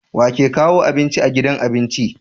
wake kawo abinci a gidan abinci